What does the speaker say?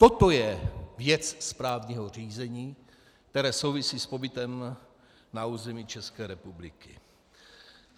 Toto je věc správního řízení, které souvisí s pobytem na území České republiky.